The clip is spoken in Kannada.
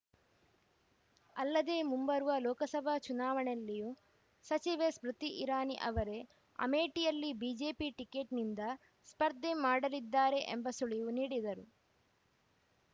ಅಲ್ಲದೆ ಮುಂಬರುವ ಲೋಕಸಭಾ ಚುನಾವಣೆಯಲ್ಲಿಯೂ ಸಚಿವೆ ಸ್ಮೃತಿ ಇರಾನಿ ಅವರೇ ಅಮೇಠಿಯಲ್ಲಿ ಬಿಜೆಪಿ ಟಿಕೆಟ್‌ನಿಂದ ಸ್ಪರ್ಧೆ ಮಾಡಲಿದ್ದಾರೆ ಎಂಬ ಸುಳಿವು ನೀಡಿದರು